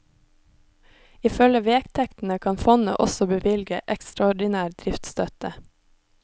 Ifølge vedtektene kan fondet også bevilge ekstraordinær driftsstøtte.